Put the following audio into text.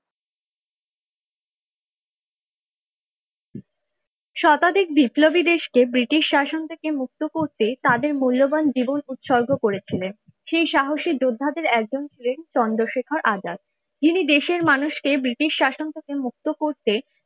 শতাধিক বিপ্লবী দেশকে ব্রিটিশ শাসন থেকে মুক্ত করতে তাদের মূল্যবান জীবন উৎসর্গ করেছিলেন সেই সাহসী যোদ্ধাদের একজন ছিলেন চন্দ্রশেখর আজাদ যিনি দেশের মানুষকে ব্রিটিশ শাসন থেকে মুক্ত করতে,